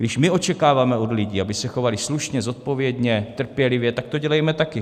Když my očekáváme od lidí, aby se chovali slušně, zodpovědně, trpělivě, tak to dělejme taky.